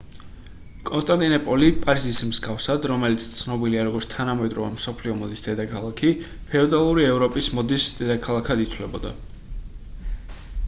კონსტანტინოპოლი პარიზის მსგავსად რომელიც ცნობილია როგორც თანამედროვე მსოფლიო მოდის დედაქალაქი ფეოდალური ევროპის მოდის დედაქალაქად ითვლებოდა